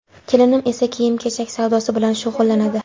Kelinim esa kiyim-kechak savdosi bilan shug‘ullanadi.